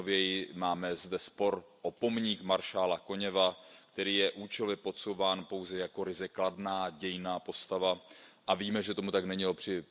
nejnověji máme zde spor o pomník maršála Koněva, který je účelově podsouván pouze jako ryze kladná dějinná postava, a víme, že tomu tak není, např.